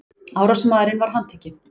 Árásarmaðurinn var handtekinn